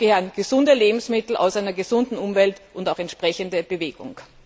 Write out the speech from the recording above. Dazu gehören gesunde Lebensmittel aus einer gesunden Umwelt und auch entsprechende Bewegung.